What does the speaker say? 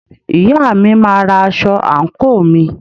Ìyá mi máa ra aṣọ àǹkóò mi.